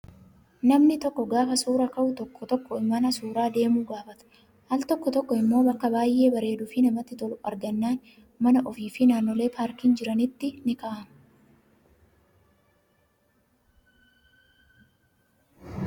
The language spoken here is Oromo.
Namni tokko gaafa suuraa ka'u tokko tokko mana suuraa deemuu gaafata. Al tokko tokko immoo bakka baay'ee bareduu fi namatti tolu argannaan mana ofii fi naannolee paarkiileen jiranitti ni ka'ama.